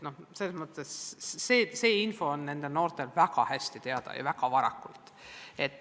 See info on nendel noortel väga hästi teada ja väga varakult.